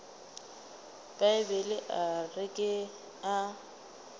bibele a re ke a